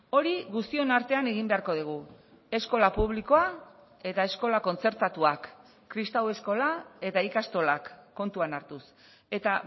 hori guztion artean egin beharko dugu eskola publikoa eta eskola kontzertatuak kristau eskola eta ikastolak kontuan hartuz eta